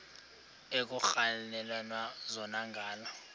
ekuhhalelwana zona ngala